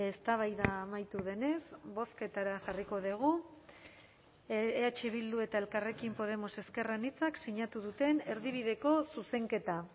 eztabaida amaitu denez bozketara jarriko dugu eh bildu eta elkarrekin podemos ezker anitzak sinatu duten erdibideko zuzenketa